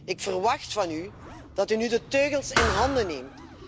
Ik verwacht van u dat u nu de teugels in handen neemt.